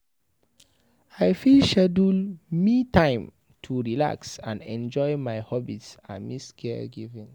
I fit schedule "me time" to relax and enjoy my hobbies amidst caregiving.